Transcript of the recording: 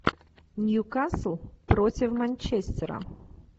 ньюкасл против манчестера